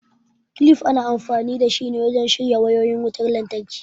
kilif ana amfani dashi ne wajen shirya wayoyin wutan lantraki